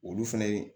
Olu fɛnɛ